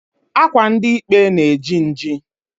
Akwa ndi ikpe na-eji nji.